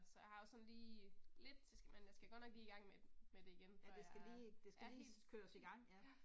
Så jeg har også sådan lige lidt, men jeg skal godt nok lige i gang med med det igen før jeg er, er helt, ja